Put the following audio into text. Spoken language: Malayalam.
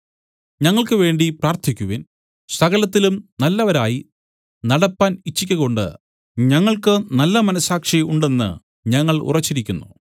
ഞങ്ങൾക്കുവേണ്ടി പ്രാർത്ഥിക്കുവിൻ സകലത്തിലും നല്ലവരായി നടപ്പാൻ ഇച്ഛിക്കകൊണ്ട് ഞങ്ങൾക്കു നല്ല മനസ്സാക്ഷി ഉണ്ടെന്ന് ഞങ്ങൾ ഉറച്ചിരിക്കുന്നു